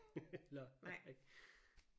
Ja præcis